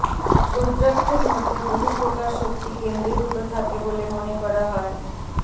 রুদ্রাক্ষের মধ্যে বহু প্রকার শক্তি কেন্দ্রীভুত থাকে বলে মনে করা হয়